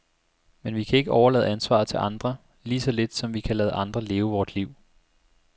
Men vi kan ikke overlade ansvaret til andre, lige så lidt som vi kan lade andre leve vort liv.